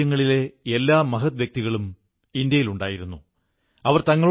അതുകൊണ്ട് നാം നടത്തുന്ന ഈ പോരാട്ടത്തിലും വിജയം സുനിശ്ചിതമാണ്